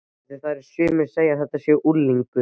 Af því að sumir segja að þetta sé unglingur.